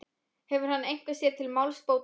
Hefur hann eitthvað sér til málsbóta?